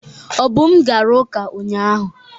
Obum gara uka unyanya.